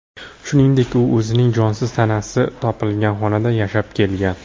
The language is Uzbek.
Shuningdek, u o‘zining jonsiz tanasi topilgan xonada yashab kelgan.